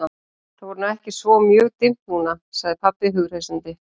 Það er nú ekki svo mjög dimmt núna, sagði pabbi hughreystandi.